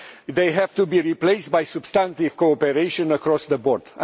These have to be replaced by substantive cooperation across the board.